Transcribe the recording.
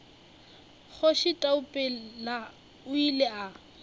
kgoši taupela o ile a